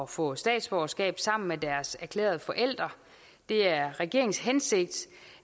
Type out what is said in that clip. få statsborgerskab sammen med deres erklærende forældre det er regeringens hensigt